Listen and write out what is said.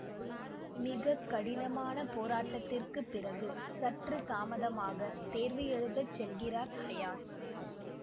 மிக கடின போராட்டத்திற்கு பிறகு சற்று தாமதமாக தேர்வு எழுதச் செல்கிறார் ஹையாத்